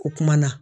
O kumana